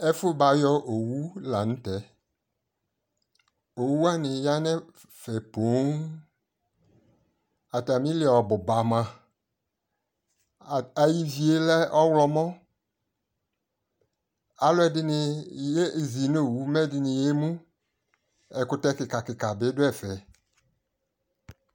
ɛfu bayɔ owu lantɛ, owu wani ya no ɛfɛ poŋ atami li ɔbo ba moa, ayi ivie lɛ ɔwlɔmɔ alo ɛdini yezi no owu mɛ ɛdini yɛmu ɛkutɛ keka keka bi do ɛfɛ